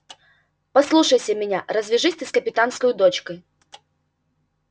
послушайся меня развяжись ты с капитанскою дочкой